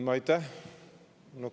Aitäh!